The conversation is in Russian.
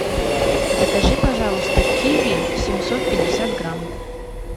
закажи пожалуйста киви семьсот пятьдесят грамм